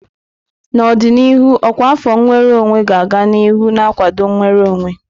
N'ọdịnihu, ọkwa afọ nnwere onwe ga-aga n'ihu na-akwado nnwere onwe.